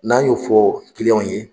N'an y'o fɔ kiliyanw ye